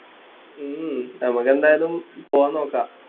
ഉം നമുക്ക് എന്തായാലും പോകാൻ നോക്കാം